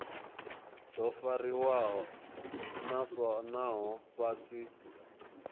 do fariwa naho vha si